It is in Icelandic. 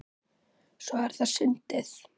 Svo er það sundið.